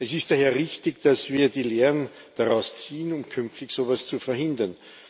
Es ist daher richtig, dass wir die Lehren daraus ziehen, um künftig so etwas zu verhindern.